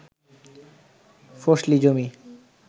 ফসলি জমি